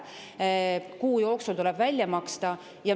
Kuu jooksul tuleb välja maksta.